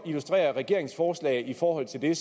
illustrere regeringens forslag i forhold til det